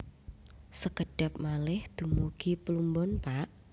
Sekedhap malih dumugi Pluombon Pak